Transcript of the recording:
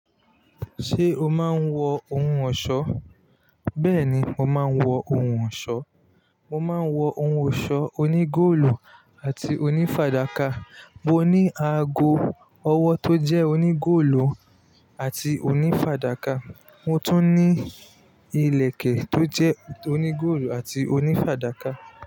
Ṣé o máa ń wọ ohun ọ̀ṣọ́? Bẹ́ẹ̀ni, mo máa ń wọ ohun ọ̀ṣọ́. Mo máa ń wọ ohun ọ̀ṣọ́ onígóòlù àti onífàdákà. Mo ní aago ọwọ́ tó jẹ́ onígóòlù àti onífàdákà, mo tún ní ìlẹ̀kẹ̀ tó jẹ́ onígóòlù àti onífàdákà.